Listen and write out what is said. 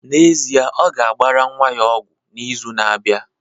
N'ezie, ọ ga-agbara nwa ya ọgwụ n'izu na-abịa